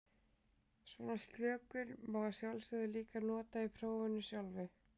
Svona slökun má að sjálfsögðu líka nota í prófinu sjálfu.